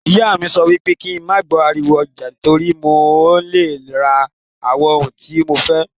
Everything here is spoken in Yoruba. Ìyá mí sọ wípé kín ma gbọ ariwo ọjà, torí mí ọ ni le ra àwọn ohun tí mo fẹ́.